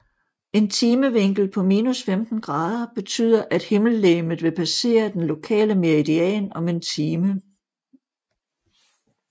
En timevinkel på minus 15 grader betyder at himmellegemet vil passere den lokale meridian om en time